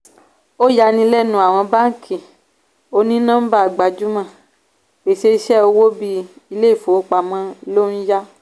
ó yanilẹ́nu àwọn báàǹkì òní-nọ́ḿbà gbajúmò pèsè iṣẹ owó bí ilé-ìfawọ́pamọ́ ló ń yá.